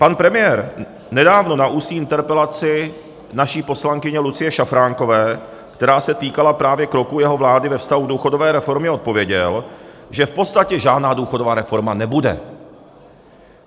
Pan premiér nedávno na ústní interpelaci naší poslankyně Lucie Šafránkové, která se týkala právě kroků jeho vlády ve vztahu k důchodové reformě, odpověděl, že v podstatě žádná důchodová reforma nebude.